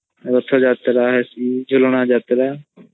ରଥୟତ୍ରା ହେସୀ ଝୁଳନ ୟାତ୍ରା